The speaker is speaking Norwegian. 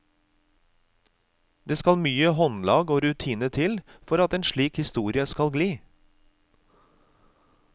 Det skal mye håndlag og rutine til for at en slik historie skal gli.